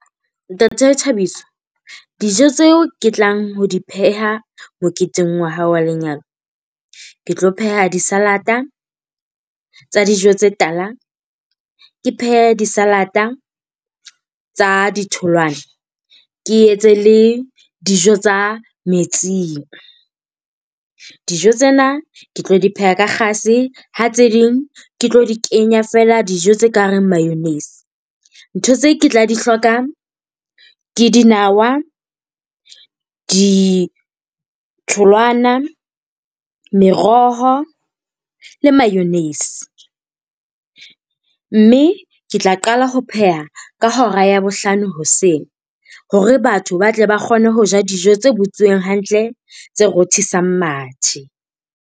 Ntate Thabiso, dijo tseo ke tlang ho di pheha moketeng wa hao wa lenyalo. Ke tlo pheha di-salad-a tsa dijo tse tala, ke phehe di-salad-a tsa di tholwana. Ke etse le dijo tsa metsing. Dijo tsena ke tlo di pheha ka kgase, Ha tse ding ke tlo di kenya fela dijo tse ka reng mayonnaise. Ntho tse ke tla di hloka ke dinawa, ditholwana, meroho le mayonnaise. Mme ke tla qala ho pheha ka hora ya bohlano hoseng hore batho ba tle ba kgone ho ja dijo tse botsuweng hantle tse rothisang mathe.